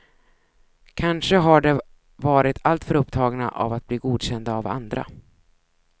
Kanske har de varit alltför upptagna av att bli godkända av andra.